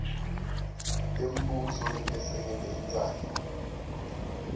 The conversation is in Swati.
tembuso letesekele intsandvo